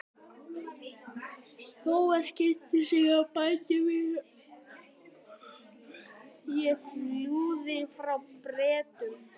Thomas kynnti sig og bætti við: Ég flúði frá Bretum